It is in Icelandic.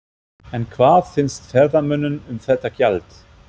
En hvað finnst ferðamönnum um þetta gjald?